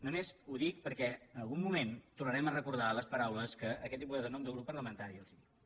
només ho dic perquè en algun moment tornarem a recordar les paraules que aquest diputat en nom del grup parlamentari els ha dit